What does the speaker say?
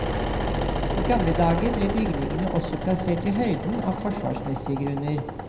I gamle dager ble bygningene også plassert i høyden av forsvarsmessige grunner.